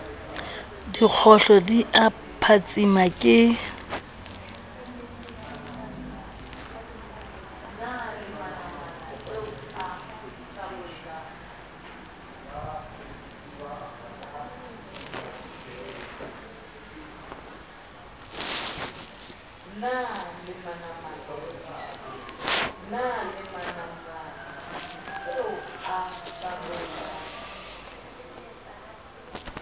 dikgohlo di a phatsima ke